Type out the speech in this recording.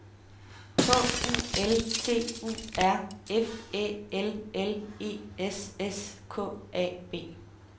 K U L T U R F Æ L L E S S K A B